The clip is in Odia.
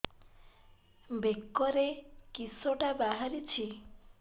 ବେକରେ କିଶଟା ବାହାରିଛି